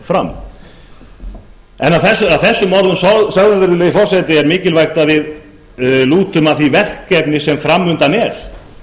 fram að þessum orðum sögðum virðulegi forseti er mikilvægt að við lútum að því verkefni sem fram undan er